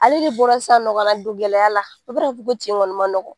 Ale de bɔra sisannɔ ka na don gɛlɛya la ko tin kɔni ma nɔgɔ.